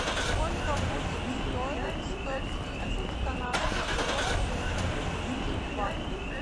сколько будет стоить сто тридцать канадских долларов если перевести в баты